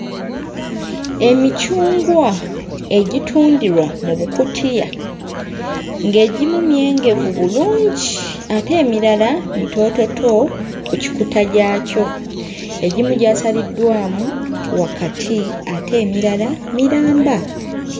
Emicungwa egitundirwa mu bukutiya ng'egimu myengevu bulungi ate emirala mitoototo ku kikuta gyakyo. Egimu gyasaliddwamu wakati ate emirala miramba,